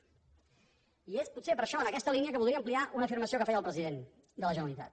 i és potser per això en aquesta línia que voldria ampliar una afirmació que feia el president de la generalitat